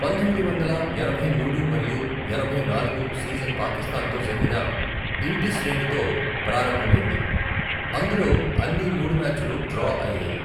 పంతొమ్మిది వందల ఎనభై మూడు మరియు ఎనభై నాలుగు సీజన్ పాకిస్తాన్తో జరిగిన ఇంటి శ్రేణితో ప్రారంభమైంది, అందులో అన్ని మూడు మ్యాచ్లు డ్రా అయ్యాయి.